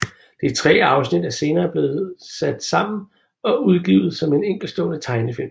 De tre afsnit er senere blevet sat sammen og udgivet som en enkeltstående tegnefilm